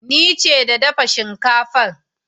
Ni ce da dafa shinkafan.